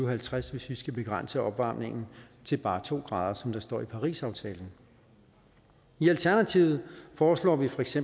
og halvtreds hvis vi skal begrænse opvarmningen til bare to grader som der står i parisaftalen i alternativet foreslår vi feks